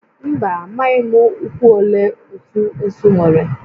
Mba, amaghị m ụkwụ ole otu esu nwere